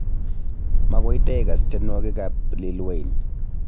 Magoi taikaas tienwogik ab Lil Wayne